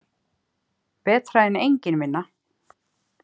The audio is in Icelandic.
Betra en engin vinna.